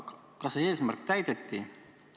Kas see eesmärk täideti?